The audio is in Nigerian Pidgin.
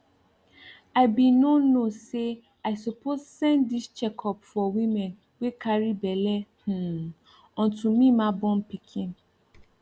i be no know say i suppose send this checkup for women wey carry belle hmm until me ma born pikin